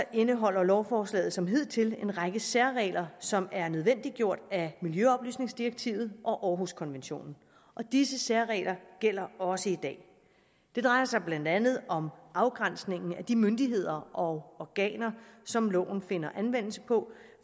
indeholder lovforslaget som hidtil en række særregler som er nødvendiggjort af miljøoplysningsdirektivet og århuskonventionen og disse særregler gælder også i dag det drejer sig blandt andet om at afgrænsningen af de myndigheder og organer som loven finder anvendelse på